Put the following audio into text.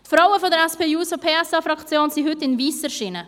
Die Frauen der SP-JUSO-PSA-Fraktion sind heute in weiss erschienen;